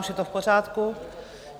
Už je to v pořádku.